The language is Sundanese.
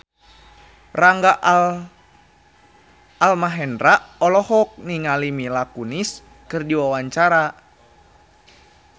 Rangga Almahendra olohok ningali Mila Kunis keur diwawancara